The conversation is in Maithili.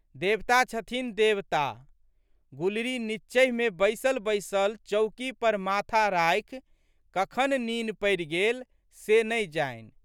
देवता छथिन देवता। गुलरी नींचहिमे बैसले बैसल चौकी पर माथा राखि कखन नीन पड़ि गेल से नहि जानि।